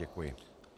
Děkuji.